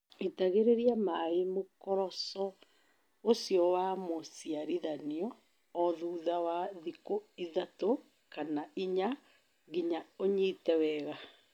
Itagĩreria maĩ mũkoroco ũcio wa mũciarithanio o thutha wa thikũ ithatũ kana inya nginya ũnyite wega.